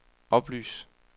oplys